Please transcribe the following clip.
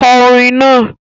Kọ orin náà!